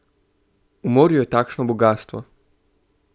V morju je takšno bogastvo!